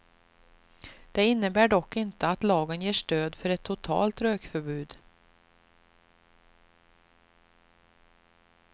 Det innebär dock inte att lagen ger stöd för ett totalt rökförbud.